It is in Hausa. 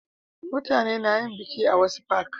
mutane na yin biki a wasu fak